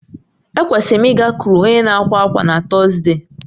Ekwesịrị m ịgakwuru onye na-àkwà ákwá na Tọzdee